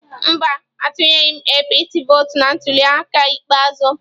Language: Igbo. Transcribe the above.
Mba, atunyeghi m APC vọọtụ na ntuliaka ikpeazụ